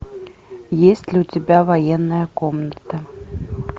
есть ли у тебя военная комната